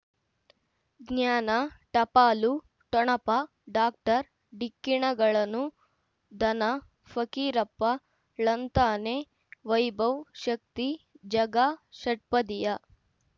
ಜ್ಞಾನ ಟಪಾಲು ಠೊಣಪ ಡಾಕ್ಟರ್ ಢಿಕ್ಕಿ ಣಗಳನು ಧನ ಫಕೀರಪ್ಪ ಳಂತಾನೆ ವೈಭವ್ ಶಕ್ತಿ ಝಗಾ ಷಟ್ಪದಿಯ